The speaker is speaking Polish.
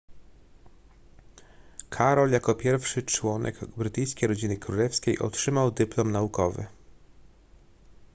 karol jako pierwszy członek brytyjskiej rodziny królewskiej otrzymał dyplom naukowy